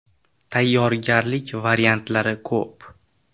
Tayyorgarlik variantlari ko‘p.